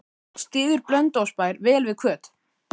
Styður Blönduósbær vel við Hvöt?